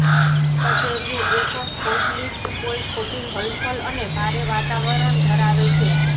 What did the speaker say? કચેરીઓ એક ફોસલીફ્ટ કોઈ ખોટી હલફલ અને ભારે વાતાવરણ ધરાવે છે